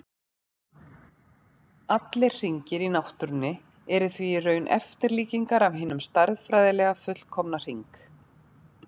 Allir hringir í náttúrunni eru því í raun eftirlíkingar af hinum stærðfræðilega fullkomna hring.